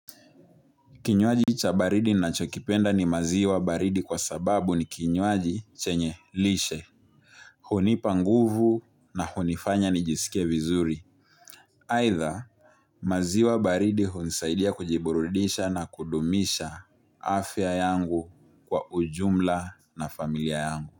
Kinywaji cha baridi ninachokipenda ni maziwa baridi kwa sababu ni kinywaji chenye lishe, hunipa nguvu na hunifanya nijiskie vizuri. Aidha, maziwa baridi hunisaidia kujiburudisha na kudumisha afya yangu kwa ujumla na familia yangu.